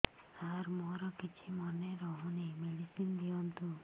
ସାର ମୋର କିଛି ମନେ ରହୁନି ମେଡିସିନ ଦିଅନ୍ତୁ